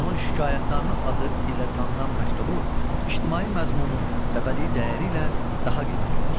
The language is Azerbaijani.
Onun Şikayətnamə adı ilə tanınan məktubu ictimai məzmunu və bədii dəyəri ilə daha qiymətlidir.